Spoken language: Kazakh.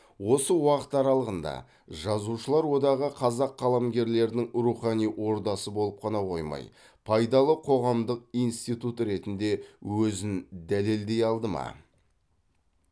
осы уақыт аралығында жазушылар одағы қазақ қаламгерлерінің рухани ордасы болып қана қоймай пайдалы қоғамдық институт ретінде өзін дәлелдей алды ма